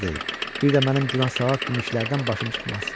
Bir də mənim günah-savab kimi işlərdən başım çıxmaz.